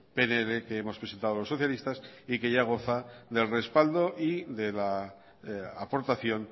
pnl que hemos presentado los socialistas y que ya goza del respaldo y de la aportación